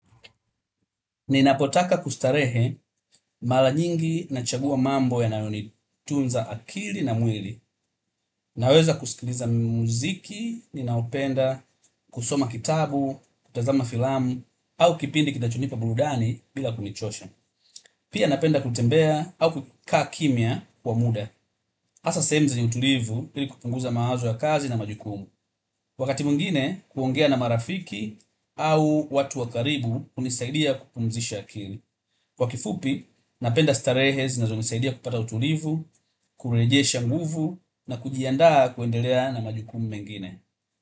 Ninapotaka kustarehe mara nyingi nachagua mambo yanayonitunza akili na mwili. Naweza kusikiliza muziki, ninaopenda, kusoma kitabu, kutazama filamu, au kipindi kitachonipa burudani bila kunichosha. Pia napenda kutembea au kukaa kimya kwa muda. Hasa sehemu zenye utulivu ili kupunguza mawazo ya kazi na majukumu. Wakati mwingine, kuongea na marafiki au watu wa karibu hunisaidia kupumzisha akili. Kwa kifupi, napenda starehe zinazonisaidia kupata utulivu, kurejesha nguvu na kujiandaa kuendelea na majukumu mengine.